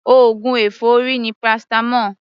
Oògùn èfọ́rí ni paracetamol.